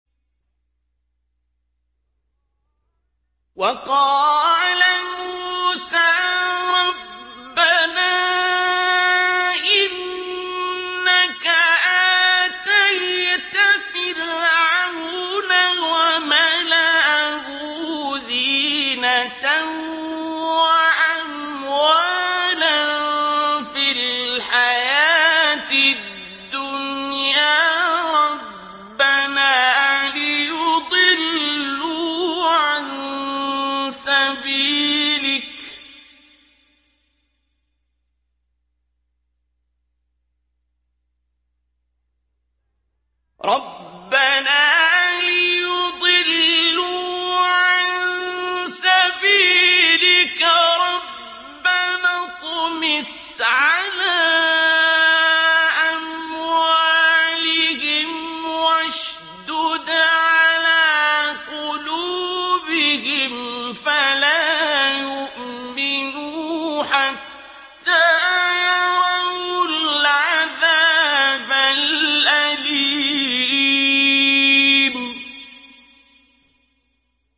وَقَالَ مُوسَىٰ رَبَّنَا إِنَّكَ آتَيْتَ فِرْعَوْنَ وَمَلَأَهُ زِينَةً وَأَمْوَالًا فِي الْحَيَاةِ الدُّنْيَا رَبَّنَا لِيُضِلُّوا عَن سَبِيلِكَ ۖ رَبَّنَا اطْمِسْ عَلَىٰ أَمْوَالِهِمْ وَاشْدُدْ عَلَىٰ قُلُوبِهِمْ فَلَا يُؤْمِنُوا حَتَّىٰ يَرَوُا الْعَذَابَ الْأَلِيمَ